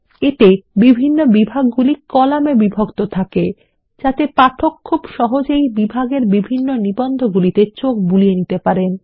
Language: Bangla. এতে বিভাগগুলি কলামে বিভক্ত থাকে যাতে পাঠক খুব সহজেই বিভিন্ন বিভাগের নিবন্ধগুলিতে চোখ বুলিয়ে নিতে পারেন